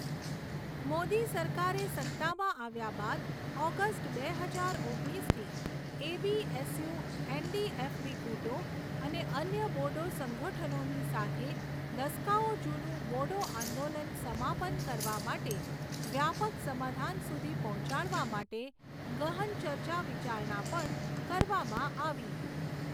મોદી સરકારે સત્તામાં આવ્યા બાદ ઓગસ્ટ બે હજાર ઓગણીસથી એબીએસયૂ, એનડીએફબી ગુટોં અને અન્ય બોડો સંગઠનોની સાથે દસકાઓ જૂનું બોડો આંદોલન સમાપન કરવા માટે વ્યાપાક સમાધાન સુધી પહોંચાડવા માટે ગહન ચર્ચા વિચારણા પણ કરવામાં આવી.